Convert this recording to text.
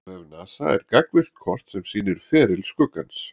Á vef NASA er gagnvirkt kort sem sýnir feril skuggans.